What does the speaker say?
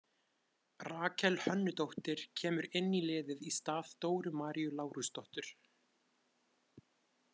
Rakel Hönnudóttir kemur inn í liðið í stað Dóru Maríu Lárusdóttur.